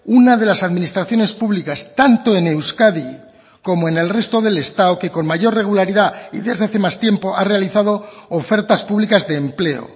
una de las administraciones públicas tanto en euskadi como en el resto del estado que con mayor regularidad y desde hace más tiempo ha realizado ofertas públicas de empleo